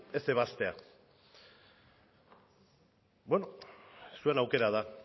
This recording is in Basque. ez ebaztea bueno zuen aukera da